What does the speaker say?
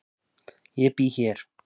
Ég bý hér.